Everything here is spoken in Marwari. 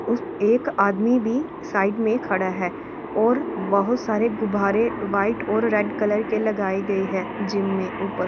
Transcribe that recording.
उस एक आदमी भी साइड में खड़ा है और बहुत सारे गुब्बारे व्हाइट और रेड कलर के लगाए गए है जिम में ऊपर।